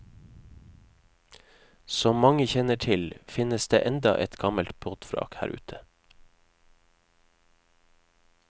Som mange kjenner til, finnes det enda et gammelt båtvrak her ute.